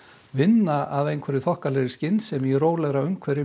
vinna af einhverri skynsemi í rólegri umhverfi